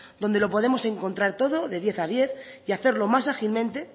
donde lo podemos encontrar todo de diez a diez y hacerlo más ágilmente